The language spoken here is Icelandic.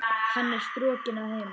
Hún er strokin að heiman.